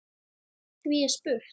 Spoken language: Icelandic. Því er spurt